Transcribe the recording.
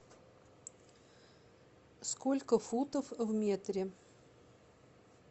сколько футов в метре